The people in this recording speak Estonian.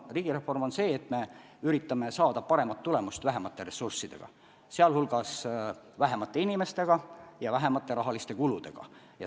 Riigireform on see, et me üritame saada paremat tulemust vähemate ressurssidega, sh vähemate inimestega ja vähema rahakuluga.